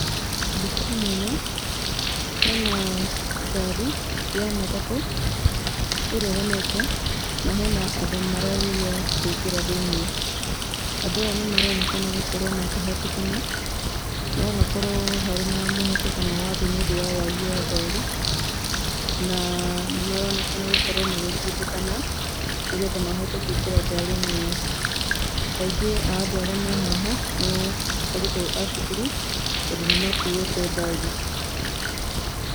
Mbica-inĩ ĩno hena ngari ya matatũ ĩrũgamĩte, na hena andũ marageria kwĩngĩra thĩiniĩ. Andũ aya nĩ maronekana gũkorwo makĩhatĩkana, no hakorwo harĩ na mũhatĩkano wa andũ nĩ ũndũ wa wagi wa ngari, na nĩ maronekana gũkorwo magĩtindĩkana nĩgetha mahote kũingĩra ngari-inĩ ĩyo. Aingĩ a andũ arĩa me haha nĩ arutwo a cukuru, tondũ nĩ makuĩte bagi.